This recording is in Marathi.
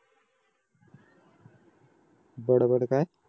बडबड काय